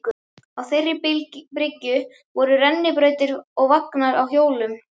Á þeirri bryggju voru rennibrautir og vagnar á hjólum.